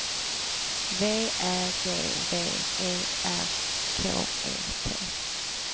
V Ä G V E R K E T